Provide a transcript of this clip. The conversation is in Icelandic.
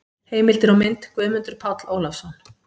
Heimildir og mynd: Guðmundur Páll Ólafsson.